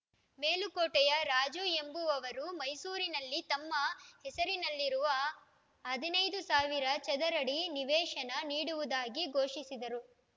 ಮೇಲುಕೋಟೆಯ ರಾಜು ಎಂಬುವವರು ಮೈಸೂರಿನಲ್ಲಿ ತಮ್ಮ ಹೆಸರಲ್ಲಿರುವ ಹದಿನೈದು ಸಾವಿರ ಚದರಡಿ ನಿವೇಶನ ನೀಡುವುದಾಗಿ ಘೋಷಿಸಿದರು